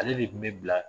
Ale de kun bɛ bila